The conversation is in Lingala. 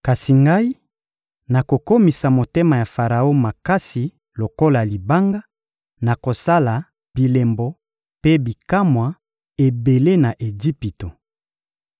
Kasi Ngai, nakokomisa motema ya Faraon makasi lokola libanga, nakosala bilembo mpe bikamwa ebele na Ejipito.